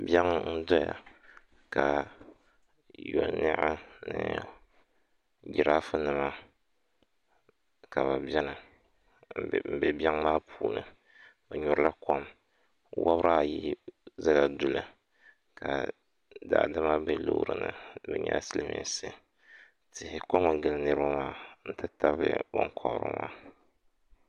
Biɛŋ n-doya ka yoniɣi ni jiraafunima ka bɛ beni m-be biɛŋ maa puuni bɛ nyurila kom wabiri ayi zala duli ka daadama be loori ni bɛ nyɛla silimiinsi tihi komi gili niriba maa nti tabili binkɔbiri maa